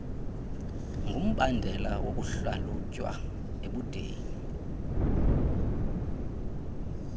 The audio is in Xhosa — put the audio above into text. ngumbandela wokuhlalutywa ebudeni